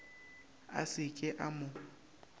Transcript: a se ke a mo